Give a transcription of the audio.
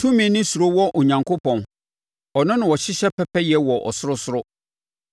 “Tumi ne suro wɔ Onyankopɔn; ɔno na ɔhyehyɛ pɛpɛyɛ wɔ ɔsorosoro.